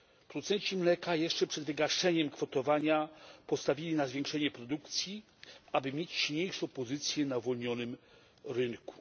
Producenci mleka jeszcze przed wygaszeniem kwotowania postawili na zwiększenie produkcji, aby mieć silniejszą pozycję na uwolnionym rynku.